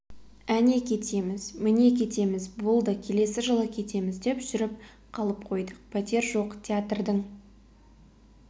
әне кетеміз міне кетеміз болды келесі жылы кетеміз деп жүріп қалып қойдық пәтер жоқ театрдың